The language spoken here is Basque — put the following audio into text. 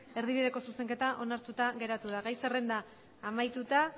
erdibideko zuzenketa onartuta geratu da gai zerrenda amaituta